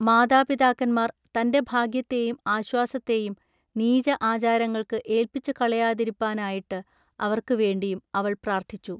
മാതാപിതാക്കന്മാർ തന്റെ ഭാഗ്യത്തേയും ആശ്വാസത്തേയും നീച ആചാരങ്ങൾക്കു ഏൾപ്പിച്ചുകളയാതിരിപ്പാ നായിട്ടു അവൎക്കു വേണ്ടിയും അവൾ പ്രാൎത്ഥിച്ചു.